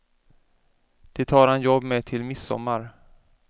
Det har han jobb med till midsommar.